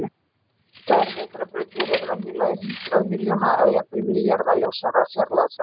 Virkar vetrarbrautir eru venjulega í hundrað milljón eða jafnvel milljarða ljósára fjarlægð frá okkur.